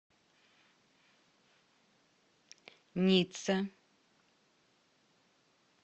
ницца